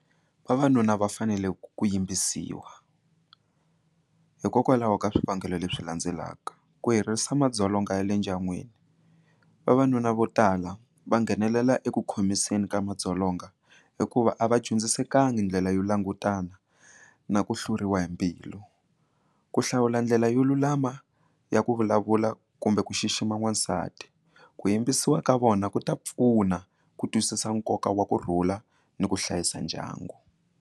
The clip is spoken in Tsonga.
Vavanuna va fanele ku yimbisiwa hikokwalaho ka swivangelo leswi landzelaka ku herisa madzolonga ya le ndyangwini vavanuna vo tala va nghenelela eku khomiseni ka madzolonga hikuva a va dyondzisekangi ndlela yo langutana na ku hluriwa hi mbilu ku hlawula ndlela yo lulama ya ku vulavula kumbe ku xixima n'wasati ku yimbisiwa ka vona ku ta pfuna ku twisisa nkoka wa ku rhula ni ku hlayisa ndyangu.